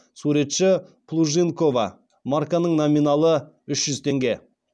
суретшісі плужникова марканың номиналы үш жүз теңге